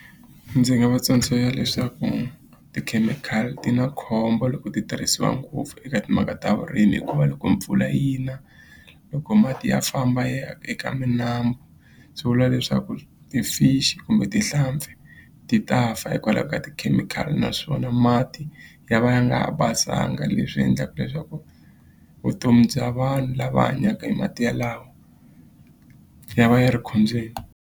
Ndzi nga va tsundzuxa leswaku tikhemikhali ti na khombo loko ti tirhisiwa ngopfu eka timhaka ta vurimi hikuva loko mpfula yi na loko mati ya famba ya eka minambu swi vula leswaku ti-fish kumbe tihlampfi ti ta fa hikwalaho ka tikhemikhali naswona mati ya va ya nga ha basanga leswi endlaka leswaku vutomi bya vanhu lava hanyaka hi mati yalawo ya va ya ri khombyeni.